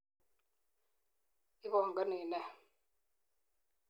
Ipangani ne?